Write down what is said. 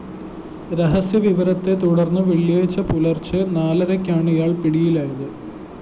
രഹസ്യവിവരത്തെ തുടര്‍ന്ന് വെള്ളിയാഴ്ച പുലര്‍ച്ചെ നാലരയ്ക്കാണ് ഇയാള്‍ പിടിയിലായത്